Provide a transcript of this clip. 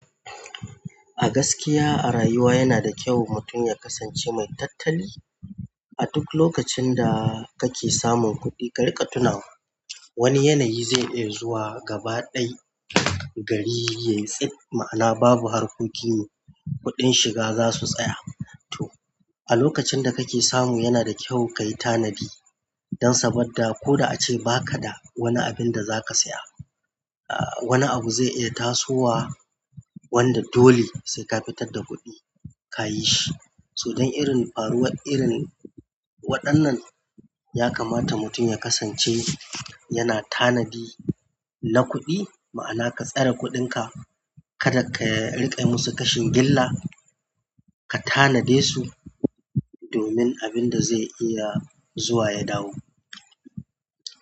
A gaskiya a rayuwa yana da kyau mutum ya kasance mai tattali. A duk lokacin da kake samun kuɗi, ka riƙa tuna wani yanayi zai iya zuwa gaba ɗaya gari yayi tsit ma'ana babu harkoki kuɗin shiga zasu tsaya. To a lokacin da kake samu yana da kyau kayi tanadi don saboda ko da ace ba ka da wani abinda zaka saya. Wani abu zai iya tasowa wanda dole sai ka fitar da kuɗi ka yi shi. So dan irin faruwar irin waɗannan yakamata mutum ya kasance yana tanadi na kuɗi, ma'ana ka tsare kuɗin ka kada ka riƙa musu kashin gilla ka tanade su domin abin da zai iya zuwa ya dawo.